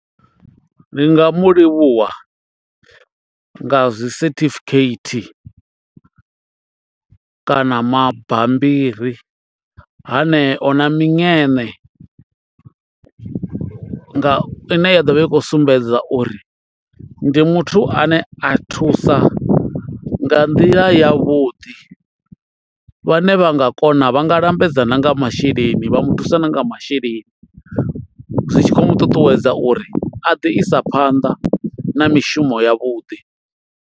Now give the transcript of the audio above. Ndi nga mu livhuwa nga zwi certificate kana mabambiri haneo na miṅene nga ine ya ḓovha i kho sumbedza uri ndi muthu ane a thusa nga nḓila yavhuḓi, vhane vha nga kona vha nga lambedza na nga masheleni vha mu thusa na nga masheleni zwi tshi khou mu ṱuṱuwedza uri a ḓi isa phanḓa na mishumo ya vhuḓi.